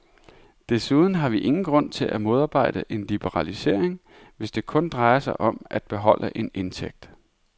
Desuden har vi ingen grund til at modarbejde en liberalisering, hvis det kun drejer sig om at beholde en indtægt.